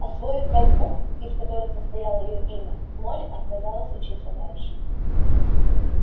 освоив пять букв из которых состояло её имя молли отказалась учиться дальше